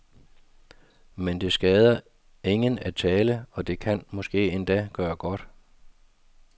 Men det skader ingen at tale, og det kan måske endda gøre godt.